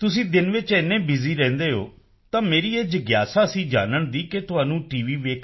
ਤੁਸੀਂ ਦਿਨ ਵਿੱਚ ਇੰਨੇ ਬਿਊਜ਼ੀ ਰਹਿੰਦੇ ਹੋ ਤਾਂ ਮੇਰੀ ਇਹ ਜਿਗਿਆਸਾ ਸੀ ਜਾਨਣ ਦੀ ਕਿ ਤੁਹਾਨੂੰ ਟੀ